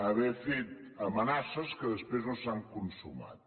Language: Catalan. haver fet amenaces que després no s’han consumat